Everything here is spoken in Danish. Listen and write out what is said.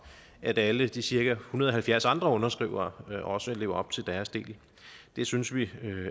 at alle de cirka en hundrede og halvfjerds andre underskrivere også lever op til deres del det synes vi